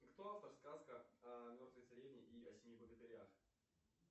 кто автор сказка о мертвой царевне и семи богатырях